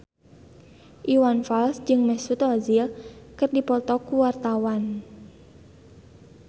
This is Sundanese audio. Iwan Fals jeung Mesut Ozil keur dipoto ku wartawan